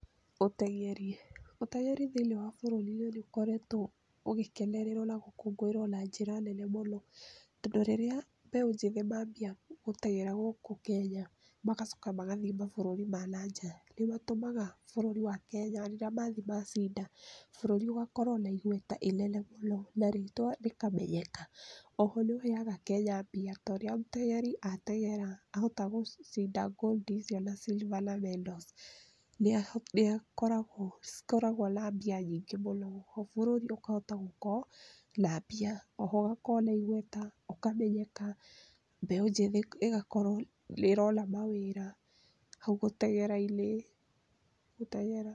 Ũteng’eri, ũteng’eri thĩinĩ wa bũrũrinĩ ũkoretwe ũgĩkenererwa na gũkũngũĩrwa na njĩra nene mũno tondu rĩrĩa mbeũ njĩthĩ mabia gũteng’era gũkũ Kenya magacoka magathiĩ mabũrũri ma na nja nĩmatũmaga bũrũri wa Kenya rĩrĩa mathiĩ macinda bũrũri ũgakorwo bũrũri ũgakorwo na igweta inene mũnona rĩtwa rĩkamenyeka oho nĩheaga Kenya mbia torĩa mũteng’eri ateng’era ahota gũcinda gold icio na silver na medals nĩcikoragwo na mbia nyingĩ mũno bũrũri ũkahota gũkorwo na mbia oho ĩgakorwo na igweta ũkamenyeka mbeũ njĩthĩ ĩgakorwo nĩrona mawĩra hau gũteng’erainĩ.